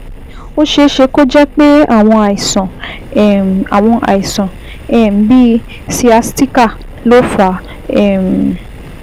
Ó ṣeé ṣe kó jẹ́ pé àwọn àìsàn um àwọn àìsàn um bíi sciatica ló fà um á